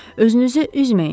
Özünüzü üzməyin.